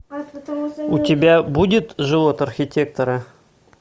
у тебя будет живот архитектора